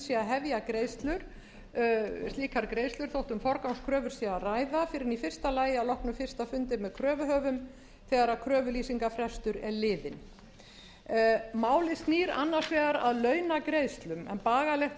hefja slíkar greiðslur þótt um forgangskröfur sé að ræða fyrr en í fyrsta lagi að loknum fyrsta fundi með kröfuhöfum þegar kröfulýsingarfrestur er liðinn málið snýr annars vegar að launagreiðslum en bagalegt